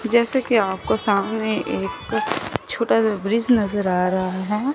जैसे कि आपको सामने एक छोटा सा ब्रिज नजर आ रहा है।